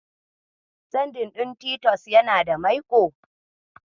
Sadin ɗin Titus yana da maiƙo.